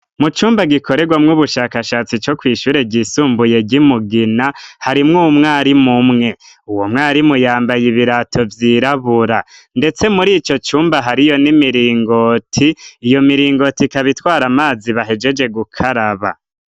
Mu cumba gikoregwamwo ubushakashatsi bwo kwishure ryisumbuye ryimugina harimwo umwarimu mwe uwo mwarimu yambaye ibirato vyirabura ndetse muri ico cumba hariyo n'imiringoti iyo miringoti ikaba itwara amazi bahejeje gukaraba.